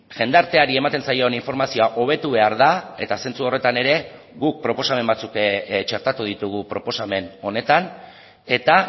jendarteari ematen zaion informazioa hobetu behar da eta sentsu horretan ere guk proposamen batzuk txertatu ditugu proposamen honetan eta